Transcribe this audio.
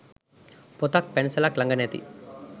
පොතක් පැන්සලක් ලඟ නැති